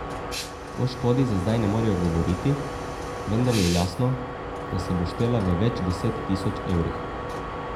O škodi za zdaj ne morejo govoriti, vendar je jasno, da se bo štela v več deset tisoč evrih.